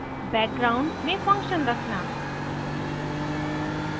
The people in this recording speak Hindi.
background में फंक्शन रखना